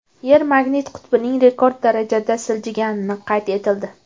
Yer magnit qutbining rekord darajada siljigani qayd etildi.